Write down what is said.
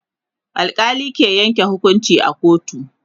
alkali ke Yanke hukunci a kotu